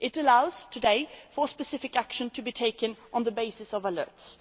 It allows today for specific action to be taken on the basis of alerts.